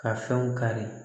Ka fɛnw kari